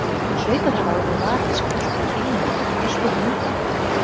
Hann hlaut að hafa orðið var við skröltið í bílnum og geltið í hundinum.